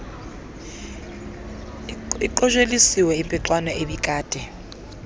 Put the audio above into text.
aqosheliswe impixano ebikade